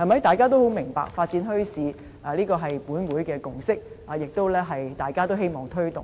大家也十分明白，發展墟市是立法會的共識，大家也同樣希望推動。